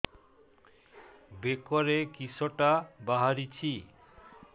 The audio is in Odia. ବେକରେ କିଶଟା ବାହାରିଛି